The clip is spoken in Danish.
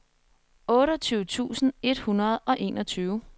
otteogtyve tusind et hundrede og enogtyve